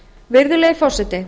virðulegi forseti